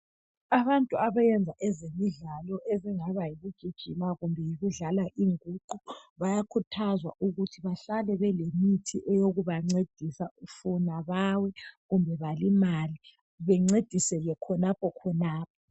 Abantu abeyenza ezemidlalo ezingaba yikugijima kumbe yikudlala inguqu, bayakhuthazwa ukuthi bahlale belemithi eyokubancedisa funa bawe kumbe balimale bencediseke khonapho khonapho.